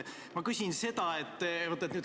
Ma küsin seda.